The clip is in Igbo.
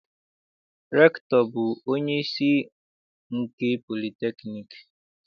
Rektọ bụ onyeisi nke politekniik.